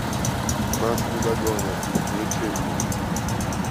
нас не догонят включи мне